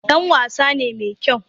Dan wasa ne mai kyau